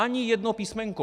Ani jedno písmenko!